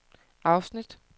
afsnit